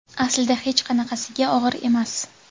Aslida hech qanaqasiga og‘ir emas.